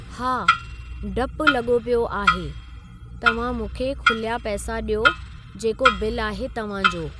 हा डपु लॻो पियो आहे, तव्हां मूंखे खुलिया पैसा ॾियो जेको बिल आहे तव्हांजो।